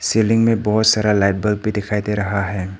Ceiling में बहुत सारा लाइट बल्ब भी दिखाई दे रहा है।